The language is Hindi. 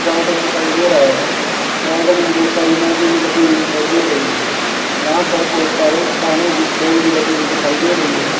गार्डन दिखाई दे रहा है गार्डन में बहुत सारी मैजी भी लगी हुई दिखाई दे रही है यहां पर बहुत सारे काड़े की खोल भी लगी हुई दिखाई दे रही है।